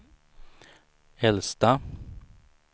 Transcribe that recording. äldsta